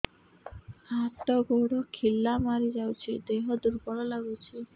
ହାତ ଗୋଡ ଖିଲା ମାରିଯାଉଛି ଦେହ ଦୁର୍ବଳ ଲାଗୁଚି